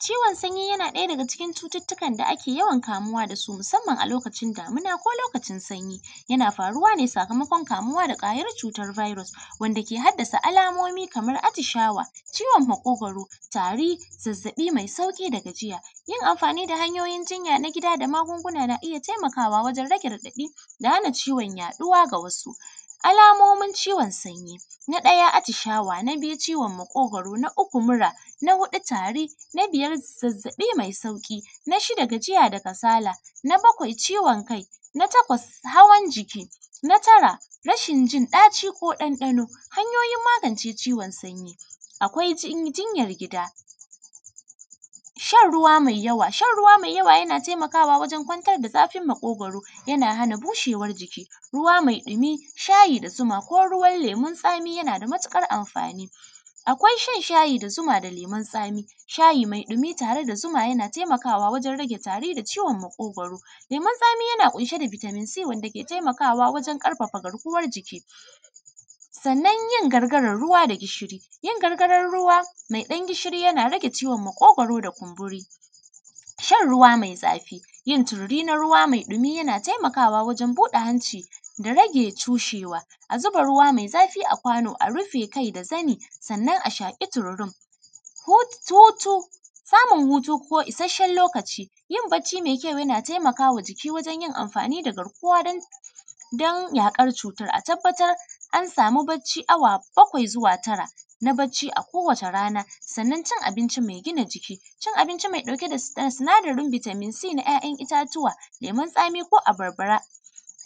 Ciwon sanyi yana ɗaya daga cikin ciwurwukan da ake yawan kamuwa da su musamman a lokacin damina ko lokacin sanyi, yana faruwa ne sakamakon kamuwa da kwayar cutar virus wanda ke haddasa alamomi kaman atishawa, ciwon makogwaro, tari, zazzabi mai sauƙi da gajiya. Yin amfani da hanyoyin jinya na gida da magunguna na iya taimakawa wajen rage raɗaɗi da hana ciwon yaɗuwa. Ga wasu alamomin ciwon sanyi, na ɗaya atishawa, na biyu ciwon makogwarona, na uku mura na huɗu tari, na biyar zazzabi mai sauƙi, na shida gajiya da kasala, na bakwai ciwon kai, na takwas hawan jiki, na tara rshin jin ɗaci ko dandano. Hanyoyin magance ciwon sanyi, akwai jinyar gida, shan ruwa mai yawa, shan ruwa mai yawa yana taimakawa wajen kwantar da zafin makogwaro, yana hana bushewar jiki ruwa mai dumi, shayi da zuma ko ruwan lemun tsami yana da matukar amfani, akwai shan shayi da zuma da lemun tsami, shayi mai dumi tare da zuma yana taimakwa wajen rage tari da ciwon makogwaro, lemun tsami yana ƙunshe da vitamin c, wanda ke taimakawa wajen ƙarfafa garkuwan jiki, sannan yin gargaran ruwa da gishiri, yin gargaran ruwa mai dan gishiri yana rage ciwon makogwaro da kumburi. Shan ruwa mai zafi, yin tururi na ruwa mai dumi yana taimakawa wajen buɗe hanci da rage toshewa, a zuba ruwa mai zafi a kwano a rufe kai da zani sannan a shaƙi tururin hutu, samun hutu na isasshen lokaci yana taimakawa jiki wajen yin amfani da garkuwa don yaƙar cutan. A tabbatar an samu bacci awa bakwai zuwa tara akowace rana sannan cin abinci mai gina jiki, cin abinci, cin abinci mai ɗauke da sinadarin vitamin c na ‘ya’yan itatuwa, lemun tsami ko abarba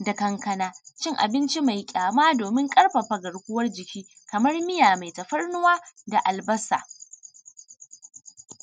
da kankana, cin abinci mai kyama domin gina garkuwan jiki kamar miya mai tafarnuwa da albasa.